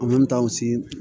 An bɛ taa u si